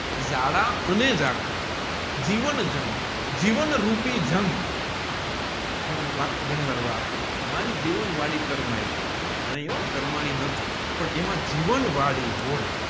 જાડા અને જાખરા જીવન જંગ જીવન રૂપી જંગ હું વાક્ય જીવન વળી કર્મયી નહિ હો કર્મની નથી પણ એમાં જીવન વાળી હોય